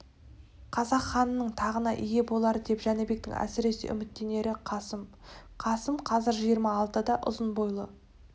қазақ ханының тағына ие болар деп жәнібектің әсіресе үміттенері қасым қасым қазір жиырма алтыда ұзын бойлы